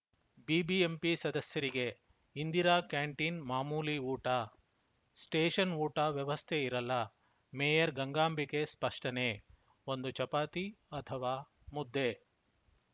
BBMP ಸದಸ್ಯರಿಗೆ Indira canteen ಮಾಮೂಲಿ ಊಟ ಸ್ಪೆಷನ್‌ ಊಟ ವ್ಯವಸ್ಥೆ ಇರಲ್ಲ ಮೇಯರ್‌ ಗಂಗಾಂಬಿಕೆ ಸ್ಪಷ್ಟನೆ ಒಂದು ಚಪಾತಿ ಅಥವಾ ಮುದ್ದೆ